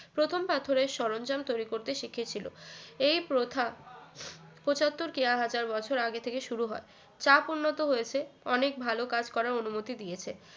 প্রথম পাথরের সরঞ্জাম তৈরি করতে শিখেছিল এই প্রথা পঁচাত্তর কেয়া হাজার বছর আগে থেকে শুরু হয় চাপ উন্নত হয়েছে অনেক ভালো কাজ করার অনুমতি দিয়েছে